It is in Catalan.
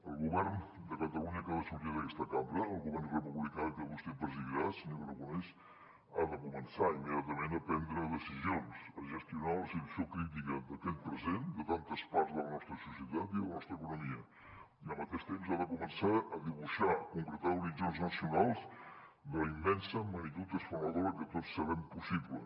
el govern de catalunya que ha de sortir d’aquesta cambra el govern republicà que vostè presidirà senyor aragonès ha de començar immediatament a prendre decisions a gestionar la situació crítica d’aquest present de tantes parts de la nostra societat i de la nostra economia i al mateix temps ha de començar a dibuixar a concretar horitzons nacionals de la immensa magnitud transformadora que tots sabem possible